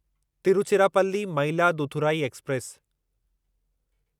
Tiruchirappalli Mayiladuthurai express